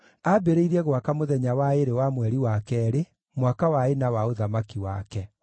Aambĩrĩirie gwaka mũthenya wa ĩĩrĩ wa mweri wa keerĩ, mwaka wa ĩna wa ũthamaki wake.